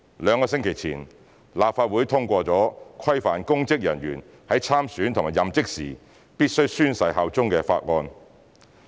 兩星期前，立法會通過規範公職人員在參選和任職時必須宣誓效忠的法案。